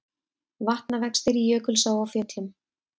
Vatnavextir í Jökulsá á Fjöllum